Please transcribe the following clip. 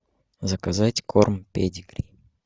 заказать корм педигри